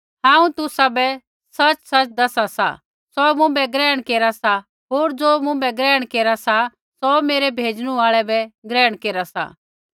हांऊँ तुसाबै सच़सच़ दसा सा सौ मुँभै ग्रहण केरा सा होर ज़ो मुँभै ग्रहण केरा सा सौ मेरै भेज़णु आल़ै बै ग्रहण केरा सा